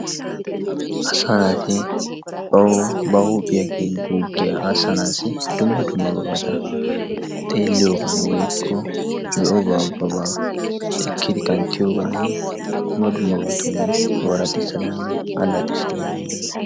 Asaa naati bawu ba huuphiya guuggiya aassanaassi dumma dummabata xeelliyobay woykko be'obaa ubbabaa ekkidi kanttiyogaan dumma dummabatun ooraxissananne allaxissana danddayees.